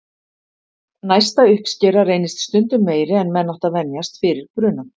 Næsta uppskera reynist stundum meiri en menn áttu að venjast fyrir brunann.